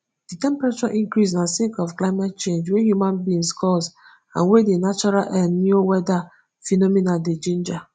di temperature increase na sake of climate change wey human beings cause and wey di natural el nio weather phenomenon dey ginger